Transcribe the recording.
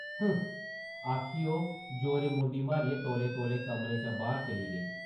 हुं ! आखियै ओह् जोरें मुंडी मारियै तौले-तौले कमरे चा बाह्र चली गेई ।